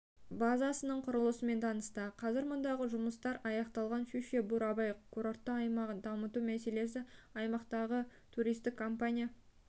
базасының құрылысымен танысты қазір мұндағы жұмыстар аяқталған щучье-бурабай курортты аймағын дамыту мәселесі аймақтағы туристік компания